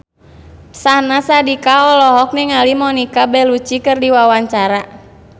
Syahnaz Sadiqah olohok ningali Monica Belluci keur diwawancara